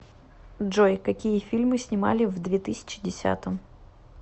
джой какие фильмы снимали в две тысячи десятом